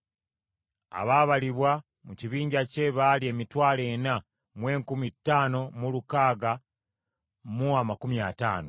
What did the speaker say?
Abaabalibwa mu kibinja kye baali emitwalo ena mu enkumi ttaano mu lukaaga mu amakumi ataano (45,650).